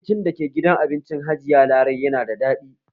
Abinci dake gidan abincin hajiya larai yana da daɗi